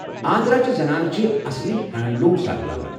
آندھرا چہِ زنانہٕ چھِ اصلی ہینڈلوٗم ساڑِ لاگان۔